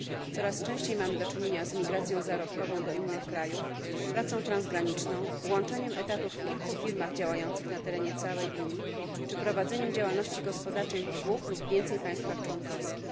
Coraz częściej mamy do czynienia z migracją zarobkową do innych krajów, pracą transgraniczną, łączeniem etatów w kilku firmach działających na terenie całej Unii czy prowadzeniem działalności gospodarczej w dwóch lub więcej państwach członkowskich.